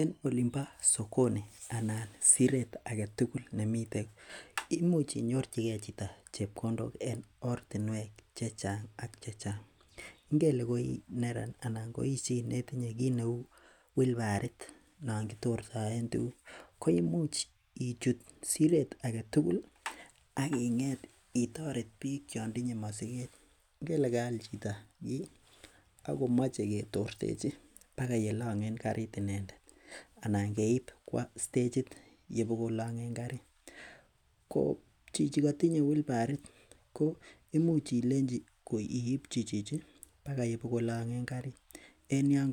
En olinbo sokoni anan siret aketugul koimuch inyorchigei chito rapiseik en ortinwek chechang',ingele koi neran anan itinye wilbarit non kitortoen tukuk koimuch ichut siret aketugul akitoret biik chon tinye mosiket ingele kaal chito akomoche ketorchechi akoi yelong'en karit ko imuch iipchi koyon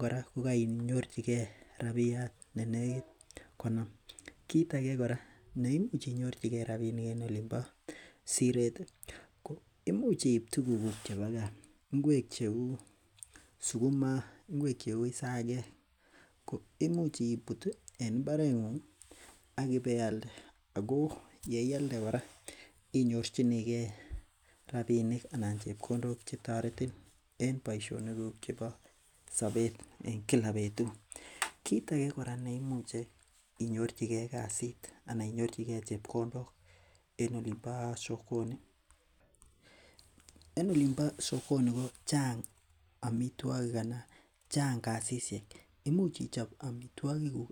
kora kokainyorchigei rapinik chenekit konom. Kiit ake ko imuch iib tuguk cheu isakek, sukuma ibealde akinyorchigei rapinik chetoretin en boisionikuk chebo sobet ,kiit ake ole imuch inyorchigei chepkondok en siret ko imuch ichop amitwogik akibealde.